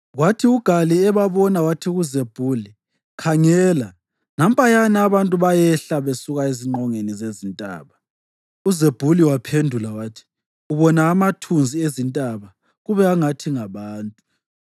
Kwathi uGali ebabona wathi kuZebhuli, “Khangela nampayana abantu bayehla besuka ezingqongeni zezintaba!” UZebhuli waphendula wathi, “Ubona amathunzi ezintaba kube angathi ngabantu.”